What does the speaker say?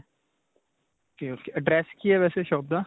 ok ok. address ਕੀ ਹੈ ਵੈਸੇ shop ਦਾ?